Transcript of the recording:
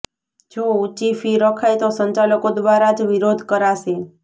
જો ઊંચી ફી રખાય તો સંચાલકો દ્વારા જ વિરોધ કરાશે